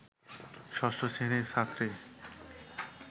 ষষ্ঠ শ্রেণির ছাত্রী